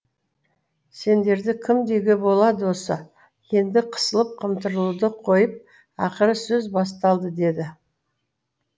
сендерді кім деуге болады осы енді қысылып қымтырылуды қойып ақыры сөз басталды деді